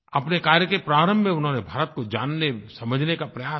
अपने कार्य के प्रारंभ में उन्होंने भारत को जानने समझने का प्रयास किया